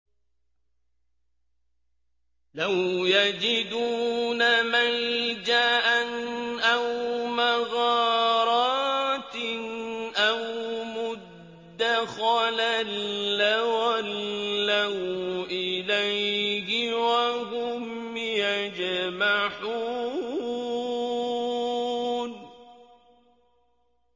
لَوْ يَجِدُونَ مَلْجَأً أَوْ مَغَارَاتٍ أَوْ مُدَّخَلًا لَّوَلَّوْا إِلَيْهِ وَهُمْ يَجْمَحُونَ